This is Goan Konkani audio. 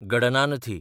गडनानथी